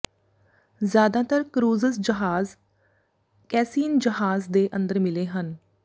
ਜ਼ਿਆਦਾਤਰ ਕਰੂਜ਼ਜ਼ ਜਹਾਜ਼ ਕੈਸੀਨ ਜਹਾਜ਼ ਦੇ ਅੰਦਰ ਮਿਲੇ ਹਨ